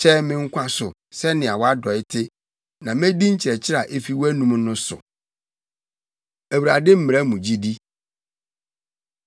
Kyɛe me nkwa so sɛnea wʼadɔe te, na medi nkyerɛkyerɛ a efi wʼanom no so. Awurade Mmara Mu Gyidi